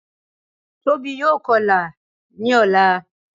Tóbi yóò kọlà ní ọ̀la